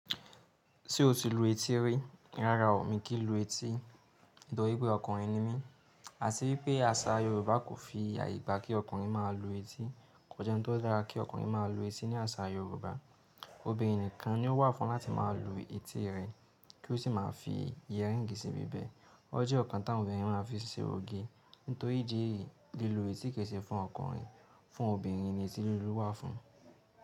Ṣé o ti lu etí rí? Rárá o, mi kì í lu etí. Toripe ọkùnrin ni mí. A sì wípé àṣà Yorùbá kò fi àyè gba kí ọkùnrin máa lu etí. Kò jẹ́ oun tó dára kí ọkùnrin máa lu etí ní àṣà Yorùbá. Obìnrin nìkan ni ó wà fún láti máa lu etí rẹ̀ kí ó sì máa fi yẹ̀rìǹgì síbi bẹ́ẹ̀. O jẹ́ nǹkan tá wọn èèyàn máa ń fi ṣe òge. Nítorí ìdí èyí, li lu etí kise fún ọkùnrin. Fún obìnrin ni etí lílu wà fún.